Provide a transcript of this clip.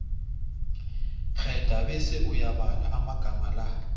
kghedla bese uyabala amagama la